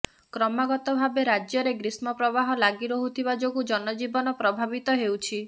କ୍ରମାଗତ ଭାବେ ରାଜ୍ୟରେ ଗ୍ରୀଷ୍ମ ପ୍ରବାହ ଲାଗି ରହୁଥିବା ଯୋଗୁଁ ଜନଜୀବନ ପ୍ରଭାବିତ ହେଉଛି